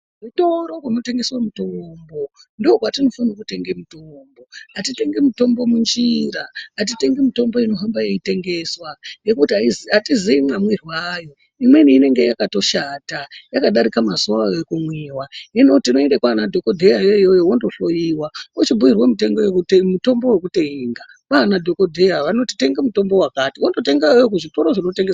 Kuzvitoro zvinotengeswa mitombo ndokwatinofana kutenga mitombo. Atitengi mutombo munjira, atitengi mutombo inohamba yeitengeswa ngekuti atiziyi mwamwirwo ayo. Imweni inenge yakatoshata yakadarika mazuwa ayo ekumwiwa. Hino tinoenda kwana dhokodheya kwona ukoko wondohloyiwa wochibhuyirwa mutombo wekutenga kwana dhokodheya vanoti wondotenga wakati wondotenga iyoyo kuzvitori zvinotengeswa mitombo.